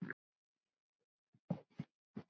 Líklega skilur